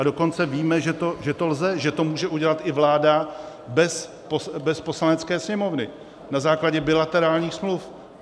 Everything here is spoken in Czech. A dokonce víme, že to lze, že to může udělat i vláda bez Poslanecké sněmovny na základě bilaterálních smluv.